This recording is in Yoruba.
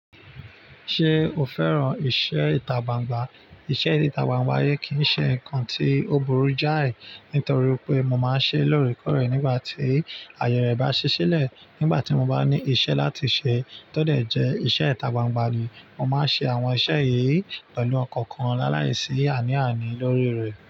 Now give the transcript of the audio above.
Ṣé o fẹ́ràn iṣẹ́ ìta gbangba? Iṣẹ́ ìta gbangba yen kì í ṣe nǹkan tí ó burú jáì, nítorí pé mo máa ń ṣe é lóríkòrè nígbà tí àyè rẹ̀ bá ṣi ṣẹ́lẹ̀. Nígbà tí mo bá ní iṣẹ́ láti ṣe tó dẹ̀ jẹ́ iṣẹ́ ìta gbangba ni, mo máa ń ṣe àwọn iṣẹ́ yìí pẹ̀lú ọkọ̀ kan láàláìsí àní àní lórí rẹ̀.